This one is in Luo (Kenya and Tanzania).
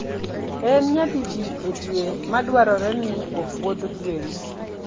En nyadidi e dwe ma dwarore ni opwodh gwen?